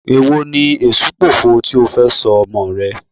Èwo ni Èṣùpòfo tí ó fẹ́ sọ ọmọọ̀ rẹ?